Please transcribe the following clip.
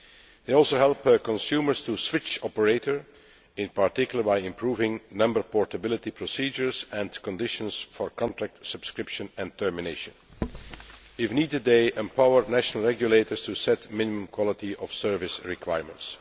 They also help their consumers to switch operator, in particular by improving number portability procedures and conditions for contract subscription and termination. If needed, they empower national regulators to set minimum quality of service requirements.